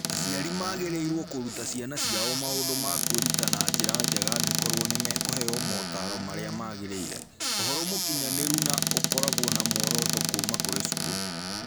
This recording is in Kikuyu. Aciari magĩrĩirũo kũruta ciana ciao maũndũ ma kwĩruta na njĩra njega angĩkorũo nĩ mekũheo motaaro marĩa magĩrĩire, ũhoro mũkinyanĩru na ũkoragwo na muoroto kuuma kũrĩ cukuru.